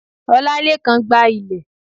òlálekan gba ile